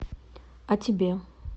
а тебе